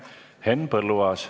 Henn Põlluaas.